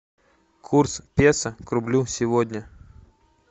курс песо к рублю сегодня